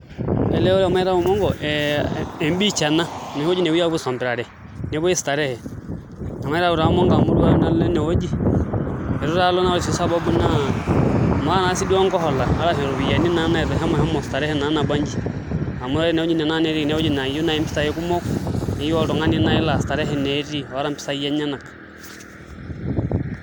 Ele ore pee matayu monko naa ebeach ena enoshi wueji napuoi aisompirare nepuoi starehe nemaitayu naa monko amu itu aikata nanu alo enewueji itu taa alo naa ore sii sababu naa maata naa sii duo nkohola arashu iropiyiani naitosha mashomo [csstarehe sii duo nabanji amu ore enewueji naa ewueji nayieu naai mpisaai kumok neyieu oltung'ani laa starehe naai etii oota mpisaai enyenak.